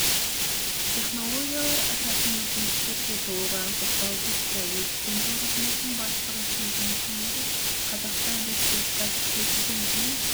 технологиялар ашатын мүмкіндіктерге толығырақ тоқталып өтті өрт сөндіру қызметінің бастығы сөзінің соңында қазақстан республикасы президентінің